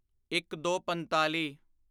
ਇੱਕਦੋਪੰਤਾਲੀ